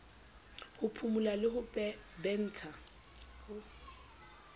ho phumula le ho bentsha